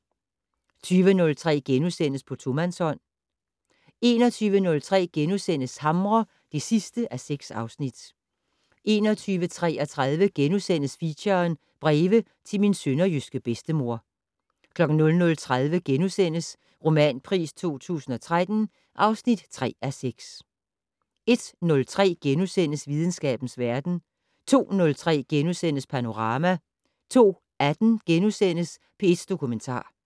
20:03: På tomandshånd * 21:03: Hamre (6:6)* 21:33: Feature: Breve til min sønderjyske bedstemor * 00:30: Romanpris 2013 (3:6)* 01:03: Videnskabens verden * 02:03: Panorama * 02:18: P1 Dokumentar *